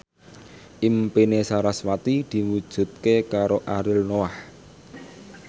impine sarasvati diwujudke karo Ariel Noah